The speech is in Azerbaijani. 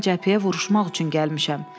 Mən cəbhəyə vuruşmaq üçün gəlmişəm.